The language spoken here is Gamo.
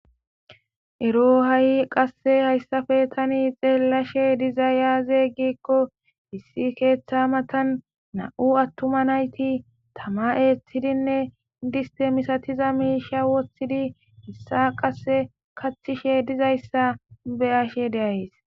Ero ha'i qasse hayssafe tani xeellashe diza yaaze giikko hissi keeththa matan na'u attuma nayti tama eeththidinne distemisatiza miisha woththidi hissa qasse kathishe dizayssa beyashe deays.